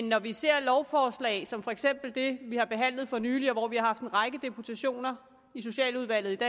når vi ser lovforslag som for eksempel det vi har behandlet for nylig og vi har haft en række deputationer i socialudvalget